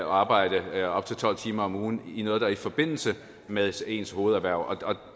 arbejde op til tolv timer om ugen i noget der ligger i forbindelse med ens ens hovederhverv